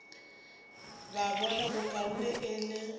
ba bona bokaone e le